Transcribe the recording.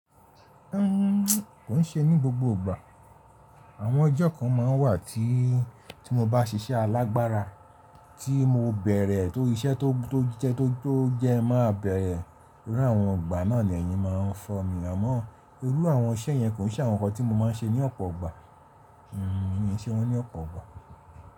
Kò ń ṣe ní gbogbo ìgbà. Àwọn ọjọ́ kan ma ń wà tí, tí mo bá ṣiṣẹ́ alágbára, tí mo bẹ̀rẹ̀ tó iṣẹ́ tó jẹ tó jẹ máa bẹ̀rẹ̀. Irú àwọn ìgbà náà ni ẹ̀yin máa ń fọ́ mi. Àmọ́ irú àwọn iṣẹ́ yẹn kò n ṣe àwọn nǹkan tí mo máa ń ṣe ní ọ̀pọ̀ ìgbà. Mi ò n ṣe wọ́n ní ọ̀pọ̀ ìgbà.